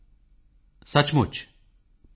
ਜੋ ਕੇਤਨ ਕੇ ਪਾਤ